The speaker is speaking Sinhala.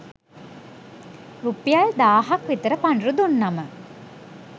රුපියල් දාහක් විතර පඬුරු දුන්නම